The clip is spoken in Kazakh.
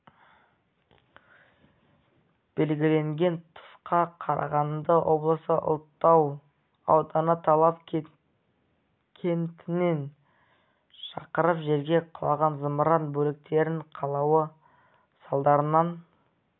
белгіленген тұсқа қарағанды облысы ұлытау ауданы талап кентінен шақырым жерге құлаған зымыран бөліктерінің құлауы салдарынан